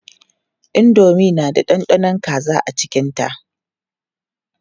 Indomi na da ɗanɗanon kaza cikinta.